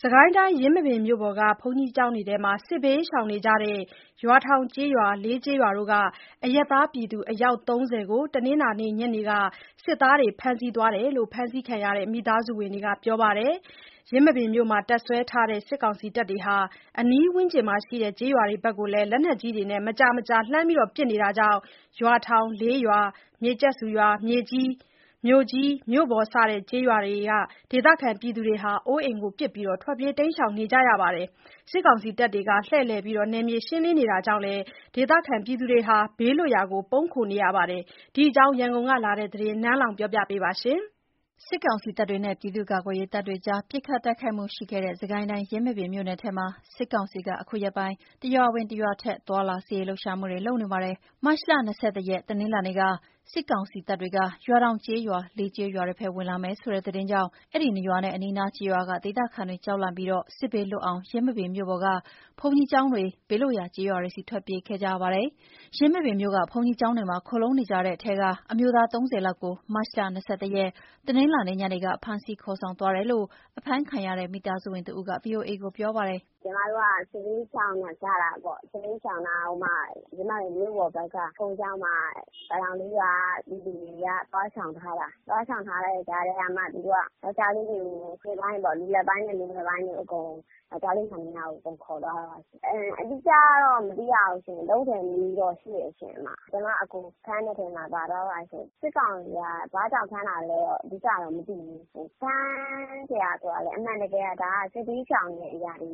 စစ်ကိုင်းတိုင်း၊ ယင်းမာပင်မြို့ပေါ်က ဘုန်းကြီးကျောင်းတွေထဲမှာ စစ်ဘေးရှောင်နေကြတဲ့ ရွာထောင်ကျေးရွာ၊ လေးကျေးရွာတို့က အရပ်သားပြည်သူ အယောက် ၃၀ ကို တနင်္လာနေ့ညနေက စစ်သားတွေဖမ်းဆီးသွားတယ်လို့ ဖမ်းဆီးခံရတဲ့ မိသားစုဝင်တွေက ပြောပါတယ်။ ယင်းမာပင်မြို့မှာ တပ်စွဲထားတဲ့ စစ်ကောင်စီတပ်တွေက အနီးဝန်းကျင်ရွာတွေဘက် လက်နက်ကြီးတွေနဲ့ မကြာမကြာ လှမ်းပစ်နေတာကြောင့် ရွာထောင်၊ လေးရွာ၊ မြေကျက်ဆူရွာ၊ မြို့ကြီး၊ မြို့ပေါ် စတဲ့ ကျေး ရွာတွေ ဒေသခံတွေ အိုးအိမ်ပစ် ထွက်ပြေးနေကြတာဖြစ်ပါတယ်။ စစ်ကောင်စီတပ်တွေ လှည့်လည် နယ်မြေရှင်းလင်းနေတာကြောင့်လည်း ဒေသခံတွေ ဘေးလွတ် ရာ ပုန်းခိုနေကြရတဲ့ အခြေအနေအကြောင်း ရန်ကုန်ကလာတဲ့သတင်းကို နန်းလောဝ်က တင်ပြပေးထားပါတယ်။ စစ်ကိုင်းတိုင်းထဲမှာ စစ်ကောင်စီတပ်တွေနဲ့ ပြည်သူ့ကာကွယ်ရေးတပ်တွေနဲ့ စစ်ကောင်စီတပ်တွေ ပစ်ခတ်တိုက်ခိုက်မှုရှိခဲ့တဲ့ ယင်းမာပင်မြို့နယ်ထဲမှာ စစ်ကောင်စီက အခုရက်ပိုင်း တရွာဝင် တရွာထွက်သွားလာ စစ်ရေးလှုပ်ရှားနေပါတယ်။ မတ်လ ၂၁ ရက် တနင်္လာနေ့က စစ်ကောင်စီတပ်တွေက ရွာထောင်ကျေးရွာ၊ လေးကျေးရွာတွေဘက် ဝင်လာမယ်ဆိုတဲ့သတင်းကြောင့် အဲဒီ ၂ ရွာနဲ့ အနီးအနားကျေးရွာက ဒေသခံတွေ ကြောက်လန့်ပြီး စစ်ဘေးလွတ်အောင် ယင်းမာပင်မြို့ပေါ်က ဘုန်းကြီးကျောင်းတွေ၊ ကျေးရွာတွေဆီ ထွက်ပြေးခဲ့ကြပါတယ်။ ယင်းမာပင်မြို့က ဘုန်းကြီးကျောင်းတွေမှာ ခိုလှုံနေကြတဲ့ထဲက အမျိုးသား ၃၀ လောက်ကို မတ်လ ၂၁ ရက် တနင်္လာနေ့ ညနေက ဖမ်းဆီးခေါ်ဆောင်သွားတယ်လို့ ဖမ်းဆီးခံရတဲ့ မိသားစုဝင်တဦးက ဗွီအိုကို ပြောပါတယ်။ “ညီမတို့က စစ်ဘေးရှောင်လာကြတာပေါ့။ စစ်ဘေးရှောင်လာတာ။ ဟိုမှာ ယင်းမာပင်မြို့ပေါ်ဘက်က ဘုန်းကြီးကျောင်းမှာ ရွာထောင်လေးရွာက ပြည်သူတွေက သွားရှောင်ထားတာ၊ သွားရှောင်ထားတဲ့ကြားထဲမှာ သူတို့က ယောက်ကျားလေးတွေကို လူလတ်ပိုင်းပေါ့၊ လူလတ်ပိုင်းနဲ့ လူငယ်ပိုင်း- ယောက်ကျားလေးမှန်သမျှကို အကုန်ခေါ်သွားတာရှင်။ အတိအကျတော့ မသိဘူး။ ၃၀ နီးနီးတော့ ရှိတယ်ရှင်။ ကျမ အကို ဖမ်းတဲ့အထဲမှာ ပါသွားတယ်ရှင်။ စစ်ကောင်စီက ဘာကြောင့် ဖမ်းတာလဲတော့ အဓိက မသိဘူး။ ဖမ်းစရာဆိုတာကလည်း အမှန်တကယ်က ဒါက စစ်ဘေးရှောင်နေကြတာကို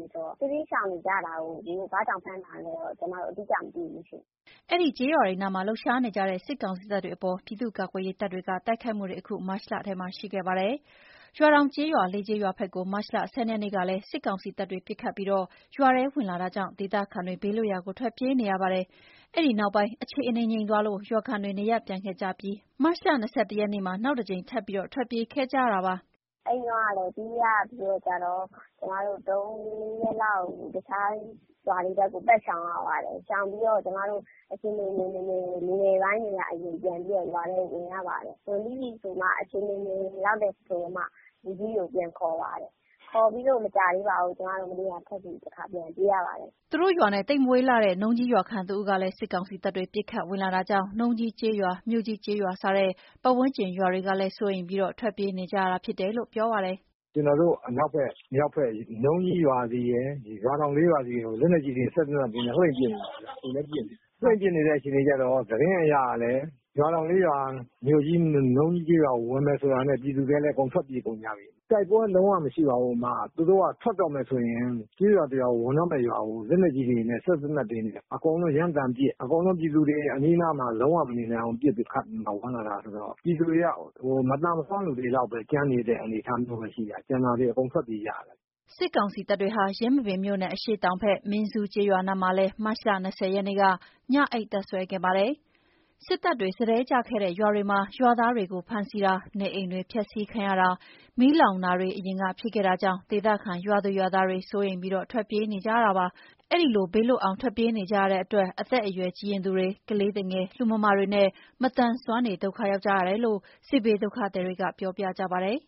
ဘာကြောင့် ဖမ်းတာလဲတော့ ကျမတို့ အတိအကျမသိဘူးရှင်။” အဲဒီကျေးရွာတွေနားမှာ လှုပ်ရှားနေတဲ့ စစ်ကောင်စီတပ်တွေအပေါ် ပြည်သူ့ကာကွယ်ရေးတပ်တွေ တိုက်ခိုက်မှုတွေ အခုမတ်လထဲမှာ ရှိခဲ့ပါတယ်။ ရွာထောင်ကျေးရွာ၊ လေးကျေးရွာဘက်ကို မတ်လ ၁၂ ရက်နေ့ကလည်း စစ်ကောင် စီတပ်တွေ ပစ်ခတ်ပြီး ရွာထဲဝင်လာတာကြောင့် ဒေသခံတွေ ဘေးလွတ်ရာကို ထွက်ပြေးနေရပါတယ်။ အဲဒီအနောက်ပိုင်း အခြေအနေငြိမ်သွားလို့ ရွာခံတွေ နေရပ်ပြန်ခဲ့ကြပြီး မတ်လ ၂၁ ရက်နေ့ နောက်တကြိမ် ထွက်ပြေးခဲ့ကြရတာဖြစ်ပါတယ်။ “အဲဒီတုန်းကလည်း ပြေးရပြီးတော့ကျတော့ ကျမတို့ ၃ ရက်လောက် တခြားရွာတွေ ဘက်ကို ပတ်ရှောင်ရတယ်။ ရှောင်ပြီးတော့ ကျမတို့ အခြေအနေငြိမ်မငြိမ်ကို လူငယ်ပိုင်းတွေက အရင်ပြန်ပြီးတော့ ရွာထဲဝင်ကြပါတယ်။ ဝင်ပြီးပြီဆိုမှ အခြေအနေငြိမ်ပြီဆိုမှ လူကြီးကို ပြန်ခေါ်ပါတယ်။ ခေါ်ပြီးတော့ မကြာသေးပါဘူး။ ကျမတို့ မနေ့ကထွက်ပြီး တခါပြန်ပြေးရပါတယ်။” သူတို့ရွာနဲ့ သိပ်မဝေးလှတဲ့ နုံးကြီးရွာခံတဦးကလည်း စစ်ကောင်စီတပ်တွေ ပစ်ခတ်ဝင်လာတာကြောင့် နုံးကြီးကျေးရွာ၊ မြို့ကြီးကျေးရွာ စတဲ့ ပတ်ဝန်းကျင်ရွာတွေကလည်း စိုးရိမ်ပြီး ထွက်ပြေးနေကြတာဖြစ်တယ်လို့ ပြောပြပါတယ်။ “ကျနော်တို့ အနောက်ဘက် မြောက်ဘက် နုံးကြီးရွာဆီရယ် ရွာထောင်လေးရွာဆီကို လက်နက်ကြီးတွေ စက်သေနတ်တွေနဲ့ လှည့်ပစ်နေတယ်ဗျ။ အခုလည်း ပစ်နေတယ်။ လှည့်ပစ်နေတဲ့ အခြေအနေကျတော့ သတင်းအရကလည်း ရွာထောင်လေးရွာ မြို့ကြီးနဲ့ နုံးကြီးကျေးရွာကို ဝင်မယ်ဆိုတာနဲ့ ပြည်သူတွေကလည်း အကုန် ထွက်ပြေးကုန်ကြပြီ။ တိုက်ပွဲလုံးဝမရှိပါဘူး။ သူတို့က ထွက်တော့မယ်ဆိုရင် ကျေးရွာတရွာကို ဝင်တော့မယ့် ရွာကို လက်နက်ကြီးတွေနဲ့ စက်သေနတ်တွေနဲ့ အကုန် လုံး ရမ်းသမ်းပစ်၊ အကုန်လုံးပြည်သူတွေ အနီးအနားမှာ လုံးဝမနေနိုင်အောင်ပစ်ပြီးမှ ဝင်လာတာဆိုတော့ ပြည်သူတွေက မသန်မစွမ်းတွေလောက်ပဲ ကျန်နေတဲ့ အနေအထားမျိုးပဲရှိတာ ကျန်တာတွေ အကုန်ပြေးထွက်ကုန်ကြရတယ်။” စစ်ကောင်စီတပ်တွေဟာ ယင်းမာပင်မြို့နယ် အရှေ့တောင်ဘက် မင်းဇူးကျေးရွာနားမှာလည်း မတ်လ ၂၀ ရက်နေ့က ညအိပ်တပ်စွဲခဲ့ပါတယ်။ စစ်တပ်တွေ စတည်းချခဲ့တဲ့ ရွာတွေမှာ ရွာသားတွေကို ဖမ်းဆီးတာ၊ နေအိမ်တွေ ဖျက်ဆီးခံရတာ၊ မီးလောင်တာတွေ အရင်က ဖြစ်ခဲ့တာကြောင့် ဒေသခံရွာသူ ရွာသားတွေ စိုးရိမ်ပြီး ထွက်ပြေးနေကြတာဖြစ်ပါတယ်။ အဲဒီလို ဘေးလွတ်အောင် ပြေးနေကြရတဲ့အတွက် အသက်အရွယ်ကြီးရင့်သူတွေ၊ ကလေးသူငယ်၊ လူမမာတွေနဲ့ မသန်မစွမ်းတွေက ဒုက္ခရောက်ကြရတယ်လို့ စစ်ဘေးဒုက္ခသည်တွေက ပြောပြကြပါတယ်